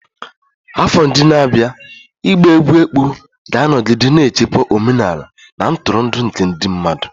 Afọ ndị na-abịa ịgba egwú ekpo ga-anọgide na-echekwa omenala na ntụrụndụ nke ndị mmadụ.